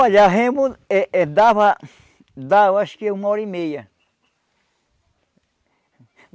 Olha, a remo eh eh dava, acho que uma hora e meia.